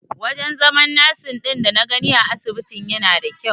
Wajen zaman nasin ɗin dana gani a asibitin yana da kyau.